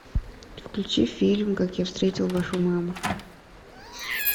включи фильм как я встретил вашу маму